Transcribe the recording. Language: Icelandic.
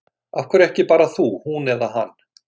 Af hverju ekki bara þú, hún eða hann?